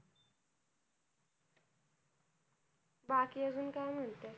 बाकी अजून काय म्हणते?